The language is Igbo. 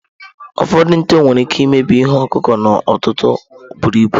Ụfọdụ nte nwere ike imebi ihe ọkụkụ n'ọtụtụ buru ibu.